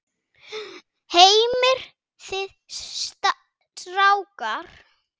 Heimir: Þið strákar?